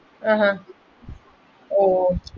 ആഹ് ഹും